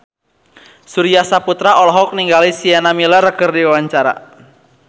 Surya Saputra olohok ningali Sienna Miller keur diwawancara